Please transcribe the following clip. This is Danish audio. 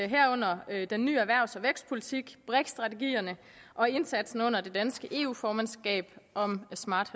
herunder den nye erhvervs og vækstpolitik brik strategierne og indsatsen under det danske eu formandskab om smart